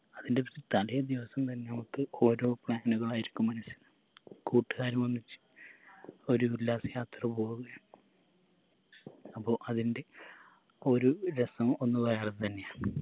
അതിൻറെ തലേ ദിവസം തന്നെ നമുക്ക് ഓരോ plan കളായിരിക്കും മനസ്സിൽ കൂട്ടുകാരുമൊന്നിച്ച് ഒരു ഉല്ലാസയാത്ര പോവുകയാ അപ്പൊ അതിൻറെ ഒരു രസം ഒന്ന് വേറെത്തന്നെയാണ്